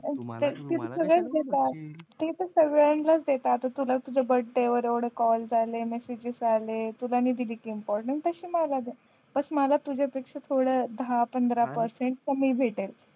सगळेच देतात ते तर सगळ्यांनाच देतात आता तुला तुझा बर्थडे वर एवढे कॉल आले मेसीजेस आले तुला मी दिली नाही इम्पॉर्टन्स तशे मला बस मला तुझ्यापेक्षा थोडं दहा पंधरा पेरसेन्ट कमी भेटल